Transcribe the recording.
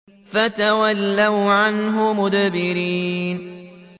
فَتَوَلَّوْا عَنْهُ مُدْبِرِينَ